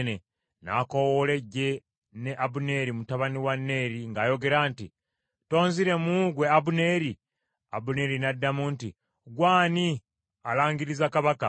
N’akoowoola eggye ne Abuneeri mutabani wa Neeri ng’ayogera nti, “Tonziremu gwe Abuneeri?” Abuneeri n’addamu nti, “Ggwe ani alangiriza kabaka?”